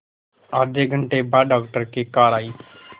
आधे घंटे बाद डॉक्टर की कार आई